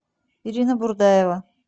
ирина бурдаева